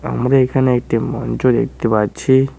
আমরা এখানে একটি মঞ্চ দেখতে পাচ্ছি।